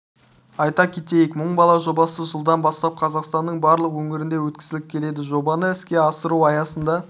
айта кетейік мың бала жобасы жылдан бастап қазақстанның барлық өңірлерінде өткізіліп келеді жобаны іске асыру аясында